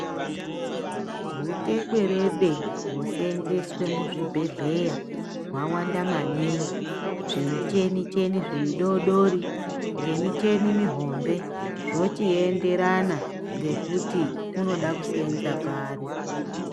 Hutekwerede hwoseenzeswe muzvibhedhera hwawanda maningi, zvimicheni-cheni zvidoodori, ngemicheni mihombe zvochienderana ngekuti unoda kuseenza pari.